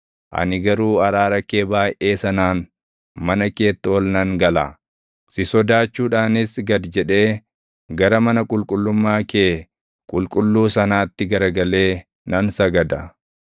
Ani garuu araara kee baayʼee sanaan mana keetti ol nan gala; si sodaachuudhaanis gad jedhee gara mana qulqullummaa kee qulqulluu sanaatti garagalee nan sagada.